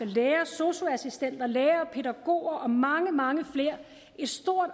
læger sosu assistenter lærere pædagoger og mange mange flere et stort